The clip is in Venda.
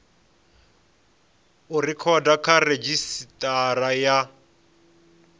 u rekhoda kha redzhisitara ya